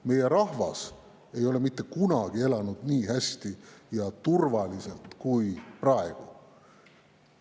Meie rahvas ei ole mitte kunagi elanud nii hästi ja turvaliselt kui praegu.